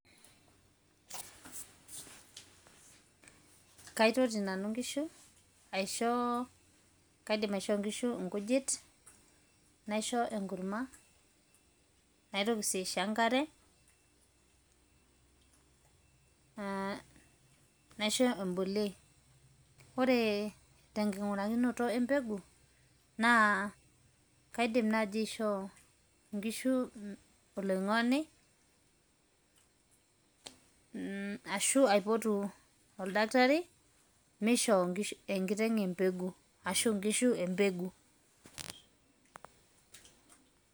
Kaitoti nanu nkishu, aisho kaidim aishoo nkishu nkujit, naisho enkurma, naitoki si aisho enkare, naisho eboliei. Ore tenking'urakinoto empeku, naa kaidim nai aishoo nkishu oloing'oni, ashu aipotu oldakitari meishoo nkishu enkiteng embegu, ashu nkishu embegu.